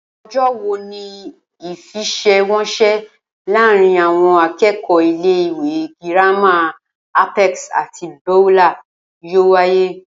O̩jó̩ wo ni ìfe̩sè̩wo̩nsè̩ láàárín àwo̩n aké̩kò̩ó̩ ilé ìwé girama Apex àti Beulah yóò wáyé?